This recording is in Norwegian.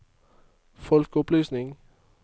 folkeopplysning